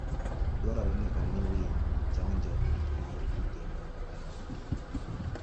Dwarore ni omi winyo chanjo mar kute mag ayaki.